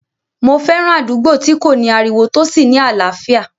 Mo fẹ́ràn àdúgbò tí kò ní ariwo tó sì ní àlàáfíà